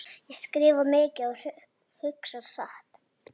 Ég skrifa mikið og hugsa hratt.